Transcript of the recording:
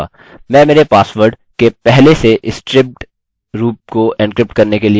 मैं मेरे पासवर्ड के पहले से स्ट्रिप्ड रूप को एन्क्रिप्ट करने के लिए md5 फंक्शन का उपयोग करूँगा